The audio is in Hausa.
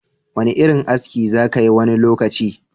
Wani irin aski za kayi wani lokaci?